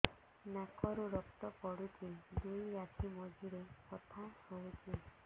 ନାକରୁ ରକ୍ତ ପଡୁଛି ଦୁଇ ଆଖି ମଝିରେ ବଥା ହଉଚି